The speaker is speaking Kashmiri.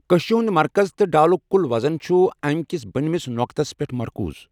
کششہِ ہُنٛد مرکز تہٕ ڈالُک کُل وزن چھُ امکِس بٔنۍ مِس نۅقطس پٮ۪ٹھ مرکوز۔